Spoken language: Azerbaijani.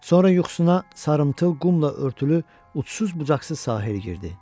Sonra yuxusuna sarımtıl qumla örtülü ucsuz-bucaqsız sahil girdi.